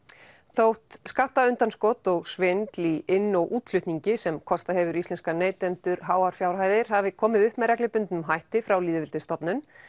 þótt skattaundanskot og svindl í inn og útflutningi sem kostað hefur íslenska neytendur háar fjárhæðir hafi komið upp með reglubundnum hætti frá lýðveldisstofnun